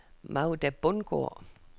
Magda Bundgaard